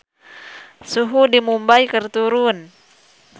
Suhu di Mumbay keur turun